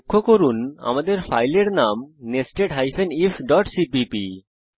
লক্ষ্য করুন যে আমাদের ফাইলের নাম nested ifসিপিপি